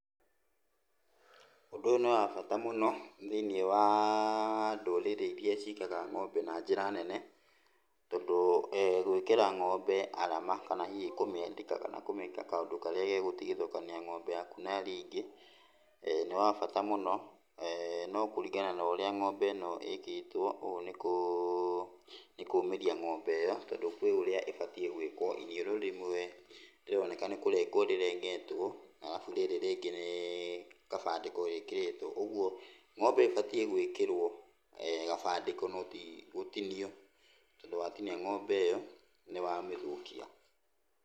Ũndũ ũyũ nĩwabata mũno, thĩiniĩ waa ndũrĩrĩ iria cigaga ng'ombe na njĩra nene, tondũ gwĩkĩra ng'ombe arama kana hihi kũmĩandĩka kana kũmĩka kaũndũ karĩa gegũtigithũkania ng'ombe yaku na iria ingĩ, nĩwa bata mũno. No kũringana na ũrĩa ng'ombe ĩno ĩkĩtwo, ũũ nĩkũmĩria ng'ombe ĩyo, tondũ kwĩ ũrĩa ĩbatiĩ gwĩkwo, iniũrũ rĩmwe rĩroneka nĩkũrengwo rĩrengetwo, alafu rĩrĩ rĩngĩ nĩ kabandĩko rĩkĩrĩtwo, ũguo ng'ombe ĩbatiĩ gwĩkĩrwo kabandĩko no ti gũtinio. Tondũ watinia ng'ombe ĩyo, nĩwamĩthũkia.